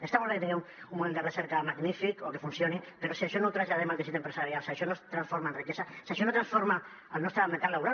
està molt bé que tinguem un model de recerca magnífic o que funcioni però si això no ho traslladem al teixit empresarial si això no es transforma en riquesa si això no transforma el nostre mercat laboral